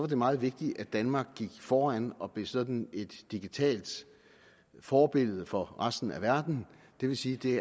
det meget vigtigt at danmark gik foran og blev sådan et digitalt forbillede for resten af verden det vil sige at det